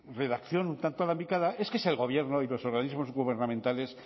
redacción un tanto alambicada es que es el gobierno y los organismos gubernamentales